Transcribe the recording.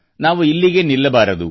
ನಾವು ಇಲ್ಲಿಗೇ ನಿಲ್ಲಬಾರದು